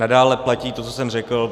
Nadále platí to, co jsem řekl.